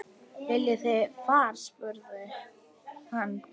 Viljið þið far? spurði hann.